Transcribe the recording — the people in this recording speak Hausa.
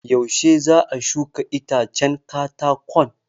Yuashe za a shuka itacen katakon?